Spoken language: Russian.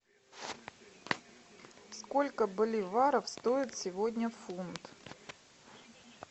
сколько боливаров стоит сегодня фунт